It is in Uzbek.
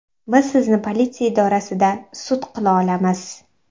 Biz sizni politsiya idorasida sud qila olamiz”.